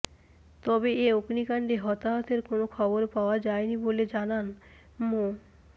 তবে এ অগ্নিকাণ্ডে হতাহতের কোনো খবর পাওয়া যায়নি বলে জানান মো